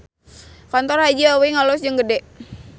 Kantor Haji Awing alus jeung gede